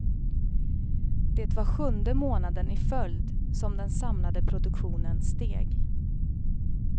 Det var sjunde månaden i följd som den samlade produktionen steg.